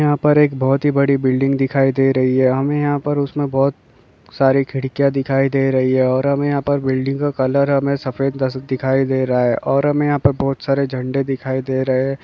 यहाँ पर एक बहुत ही बड़ी बिल्डिंग दिखाई दे रही हैं। हमें यहा पर उसमे बहोत सारी खिड़किया दिखाई दे रही हैं। और हमे यहा पर बिडिंग का कलर सफेद दिखाई दे रहा हैं। और हमें यहाँ पर बहुत सारे झंडे दिखाई दे रहे--